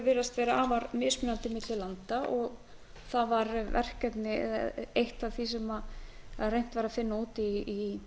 virðast vera afar mismunandi milli landa og það var verkefni eða eitt af því sem reynt var að finna út í